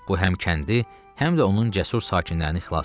Bu həm kəndi, həm də onun cəsur sakinlərini xilas elədi.